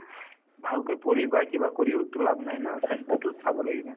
ভালকৈ পঢ়ি বা কিবা কৰিওতো লাভ নাই না স্বাস্থ্যতোক চাব লাগিব